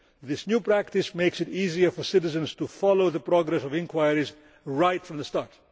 This new practice makes it easier for citizens to follow the progress of inquiries right from the start.